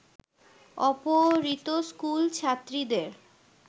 অপহৃত স্কুল ছাত্রীদের